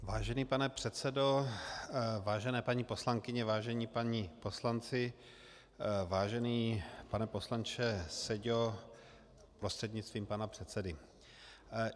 Vážený pane předsedo, vážené paní poslankyně, vážení páni poslanci, vážený pane poslanče Seďo prostřednictvím pana předsedy.